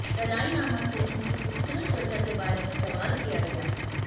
Dalai Lama से उनकी खूबसूरत त्वचा के बारे में सवाल किया गया